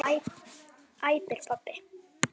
æpir pabbi.